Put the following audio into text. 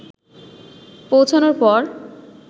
পৌঁছানোর পর